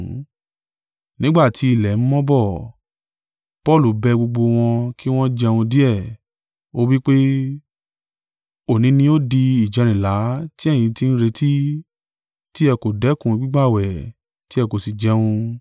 Nígbà tí ilẹ̀ ń mọ́ bọ̀, Paulu bẹ gbogbo wọn kí wọn jẹun díẹ̀, ó wí pé, “Òní ni ó di ìjẹrìnlá tí ẹ̀yin ti ń retí, ti ẹ kò dẹ́kun gbígbààwẹ̀, tí ẹ kò sì jẹun.